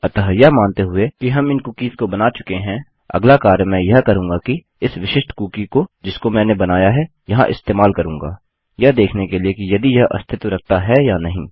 अतः यह मानते हुए कि हम इन कुकीस को बना चुके हैं अगला कार्य मैं यह करूँगा कि इस विशिष्ट कुकी को जिसको मैंने बनाया है यहाँ इस्तेमाल करूँगा यह देखने के लिए कि यदि यह अस्तित्व रखता है या नहीं